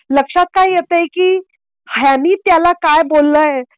लक्षात काय येत आहे की त्यांनी त्याला काय बोललाय.